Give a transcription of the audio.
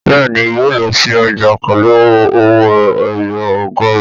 Bẹ́ẹ̀ni, yóò lọ sí ọjà pẹ̀lú owó ẹyọ ọgọrun